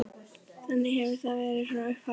Þannig hefur það verið frá upphafi.